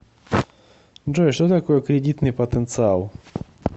джой что такое кредитный потенциал